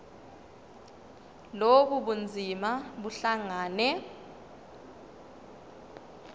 lobu bunzima buhlangane